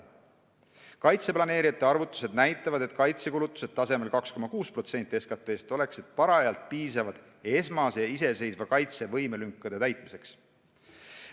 Kaitse planeerijate arvutused näitavad, et kaitsekulutused tasemel 2,6% SKT-st oleksid parajalt piisavad esmase iseseisva kaitsevõime lünkade täitmiseks.